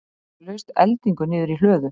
Þá laust eldingu niður í hlöðu.